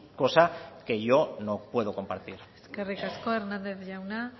cosa que yo no puedo compartir eskerrik asko hernández jauna